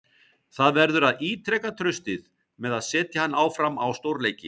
Það verður að ítreka traustið með að setja hann áfram á stórleiki.